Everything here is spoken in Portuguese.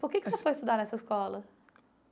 Por que que você foi estudar nessa escola?